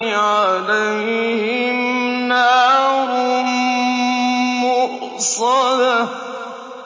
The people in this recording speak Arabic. عَلَيْهِمْ نَارٌ مُّؤْصَدَةٌ